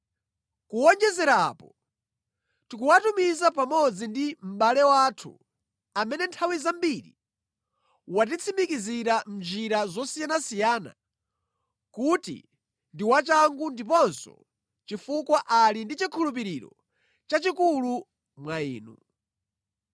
Kuwonjezera apo, tikuwatumiza pamodzi ndi mʼbale wathu, amene nthawi zambiri watitsimikizira mʼnjira zosiyanasiyana kuti ndi wachangu ndiponso chifukwa ali ndi chikhulupiriro chachikulu mwa inu.